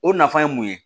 O nafa ye mun ye